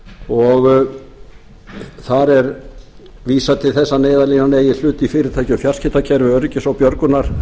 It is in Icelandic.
og þar er vísað til þess að neyðarlínan eigi hlut í fyrirtæki og fjarskiptakerfi öryggis og björgunaraðila